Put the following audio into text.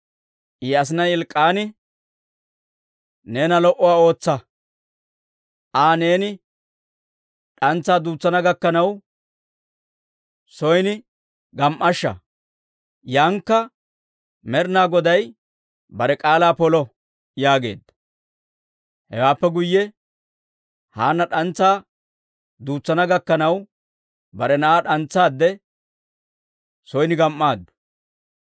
I asinay Elk'k'aani, «Neena lo"owaa ootsa; Aa neeni d'antsaa duutsana gakkanaw son gam"ashsha; yaaninakka Med'inaa Goday bare k'aalaa polo» yaageedda. Hewaappe guyye Haanna d'antsaa duutsana gakkanaw bare na'aa d'antsaadde son gam"aaddu.